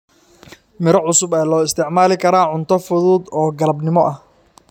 Miro cusub ayaa loo isticmaali karaa cunto fudud oo galabnimo ah.